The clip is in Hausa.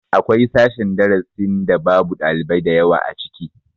Akwai sashen darasin da babu ɗalibai da yawa ciki